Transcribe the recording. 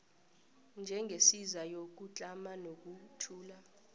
njengesiza yokutlama nokwethula